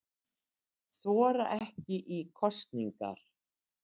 Þora ekki í kosningar